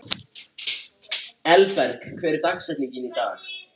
Öll kennileiti eru síðan mæld með tilliti til þessa stærðfræðilega yfirborðs.